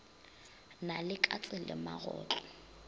na le katse le magotlo